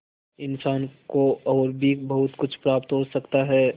इंसान को और भी बहुत कुछ प्राप्त हो सकता है